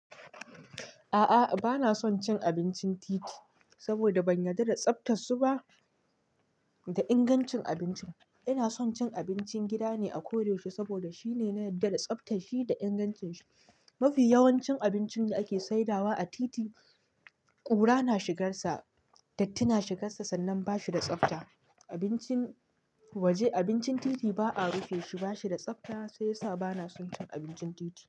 A'a bana son cin abincin titi saboda ban yarda da tsaftar su ba da ingancin abincin. Ina son cin abincin gida ne a koyaushe saboda shine na yarda da tsaftar shi da ingancin shi. Mafi yawancin abincin da ake saidawa a titi ƙura na shigar sa, datti na shigar sa sannan bashi da tsafta. Abincin waje, abincin titi ba'a rufe shi, bashi da tsafta sai yasa bana son cin abincin titi.